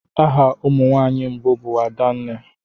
Aha ụmụ nwanyị mbụ bụ adenne.